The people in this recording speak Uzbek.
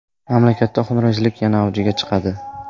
Mamlakatda xunrezlik yana avjiga chiqadi.